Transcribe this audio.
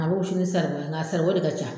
A bɛ wusu ni saribɔn ye nga saribɔn de ka ca.